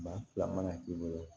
Maa fila mana k'i bolo